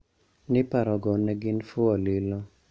Ni paro go ne gin fuwo lilo